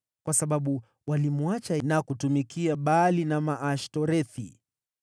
kwa sababu walimwacha na kutumikia Baali na Maashtorethi.